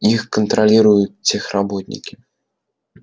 их контролируют техработники